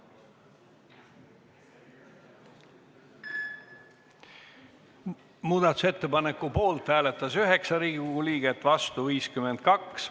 Hääletustulemused Muudatusettepaneku poolt hääletas 9 Riigikogu liiget, vastu 52.